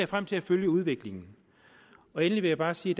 frem til at følge udviklingen endelig vil jeg bare sige